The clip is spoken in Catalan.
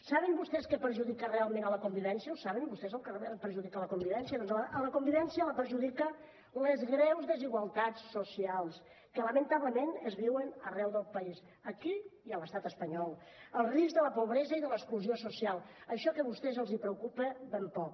saben vostès què perjudica realment la convivència ho saben vostès el que realment perjudica la convivència doncs la convivència la perjudiquen les greus desigualtats socials que lamentablement es viuen arreu del país aquí i a l’estat espanyol el risc de la pobresa i de l’exclusió social això que a vostès els preocupa ben poc